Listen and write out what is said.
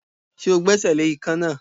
Ṣé o gbẹ́sẹ̀ le ikán náà?